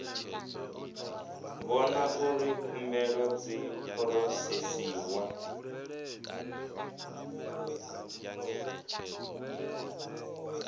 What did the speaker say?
vhona uri khumbelo dzi phurosesiwa